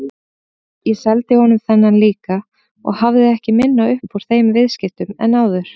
Ég seldi honum þennan líka og hafði ekki minna upp úr þeim viðskiptum en áður.